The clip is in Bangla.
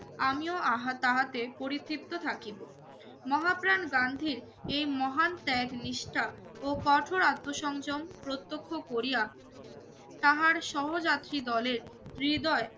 আমিও আহা তাহাতে পরিতৃপ্ত থাকিব। মহাপ্রাণ গান্ধীর এই মহান ত্যাগ, নিষ্ঠা ও কঠোর আত্মসংযম প্রত্যক্ষ করিয়া তাহার সহযাত্রী দলের হৃদয়